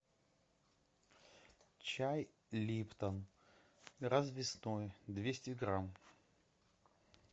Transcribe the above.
чай липтон развесной двести грамм